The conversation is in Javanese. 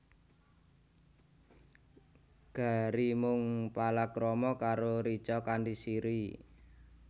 Gary mung palakrama karo Richa kanthi Siri